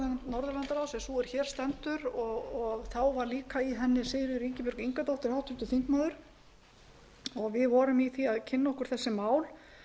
norðurlandaráðs er sú sem hér stendur og þá var líka í henni háttvirtur þingmaður sigríður ingibjörg ingadóttir og við vorum í því að kynna okkur þessi mál